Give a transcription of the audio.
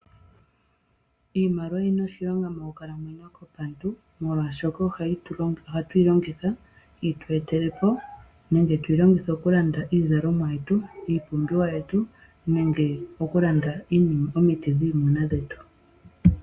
Iimaliwa oyina oshilonga moonkalamwenyo dhetu molwaashoka ohatu yi longitha yitu etelepo nenge tuyi longekithe okulanda iizalomwa yetu , iipumbiwa yetu, omiti dhiimuna yetu nayilwe.